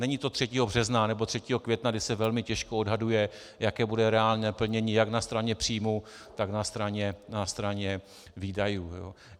Není to 3. března nebo 3. května, kdy se velmi těžko odhaduje, jaké bude reálné plnění jak na straně příjmů, tak na straně výdajů.